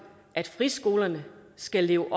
at friskolerne skal leve